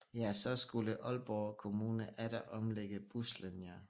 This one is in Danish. Ja så skulle Aalborg kommune atter omlægge buslinjer